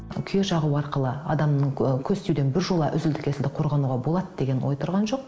күйе жағу арқылы адамның ы көз тиюден біржола үзілді кесілді қорғануға болады деген ой тұрған жоқ